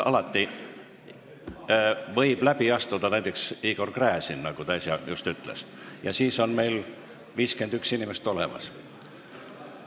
Alati võib ju läbi astuda näiteks Igor Gräzin, nagu ta just äsja ütles, ja siis oleks meil 51 inimest olemas.